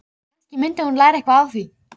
Kannski mundi hún læra eitthvað á því.